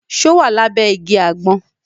Ṣo wà lábẹ́ igi àgbọn?